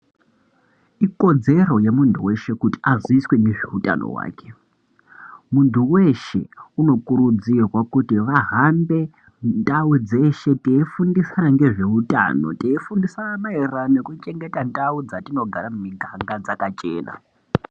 Ikodzero yemuntu weshe kuti aziiswe ngezveutano hwake. Muntu weeshe unokurudzirwa kuti vahambe ndau dzeshe teifundisa maererano ngezveutano, teifundisa maererano ngekuchengetedza ndau dzetinogara miganga dzakachena.